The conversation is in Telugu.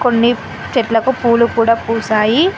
కొన్ని చెట్లకు పూలు కూడా పూసాయి.